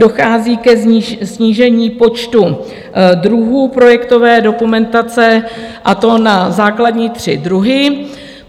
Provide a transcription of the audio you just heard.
Dochází ke snížení počtu druhů projektové dokumentace, a to na základní tři druhy.